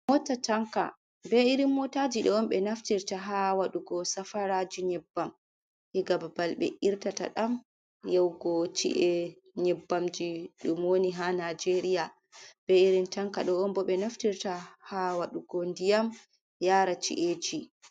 Mota tanka be irin motaji do on be naftirta ha wadugo safaraji nyebbam diga babal be irtata dam yaugo ci’e nyebbamji dum woni ha nijeria, be irin tanka do'on bo ɓe naftirta ha wadugo ndiyam yara ci’eji.